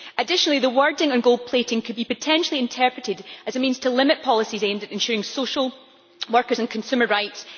Additionally, the wording on gold plating could be potentially interpreted as a means to limit policies aimed at ensuring social, workers' and consumer rights.